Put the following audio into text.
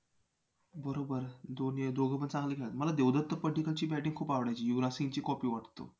बरोबर दोघपण चांगलं खेळतात मला देवदत्त पड्डीकलची batting खूप आवडायची युवराज सिंगची copy वाटतो.